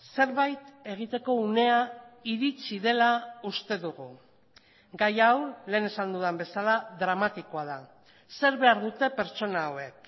zerbait egiteko unea iritsi dela uste dugu gai hau lehen esan dudan bezala dramatikoa da zer behar dute pertsona hauek